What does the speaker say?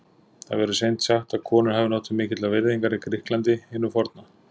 Það verður seint sagt að konur hafi notið mikillar virðingar í Grikklandi hinu forna.